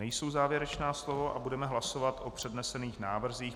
Nejsou závěrečná slova a budeme hlasovat o přednesených návrzích.